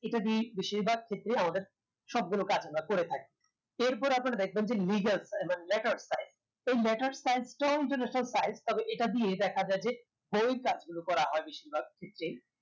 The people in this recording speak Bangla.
এটা দিয়েই বেশিরভাগ ক্ষেত্রে আমাদের সবগুলো কাজ আমরা করে থাকি এরপরে আপনারা দেখবেন যে legal মানে letter size এই letter size টা ও international size তবে এটা দিয়ে দেখা যায় যে বই এর কাজগুলো করা হয় বেশিরভাগ ক্ষেত্রেই